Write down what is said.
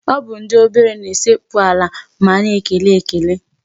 Ọ bụ ndị obere na-esekpu ala ma a na-ekele ekele.